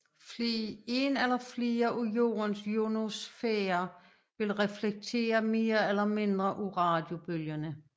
En eller flere af Jordens ionosfærer vil reflektere mere eller mindre af radiobølgerne